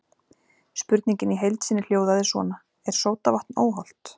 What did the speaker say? Spurningin í heild sinni hljóðaði svona: Er sódavatn óhollt?